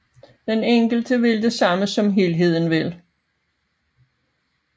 Den enkelte vil det samme som helheden vil